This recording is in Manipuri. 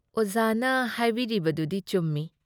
ꯑꯣꯖꯥꯅ ꯍꯥꯏꯕꯤꯔꯤꯅꯗꯨꯗꯤ ꯆꯨꯝꯃꯤ ꯫